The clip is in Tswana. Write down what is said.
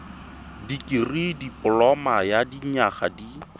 dikirii dipoloma ya dinyaga di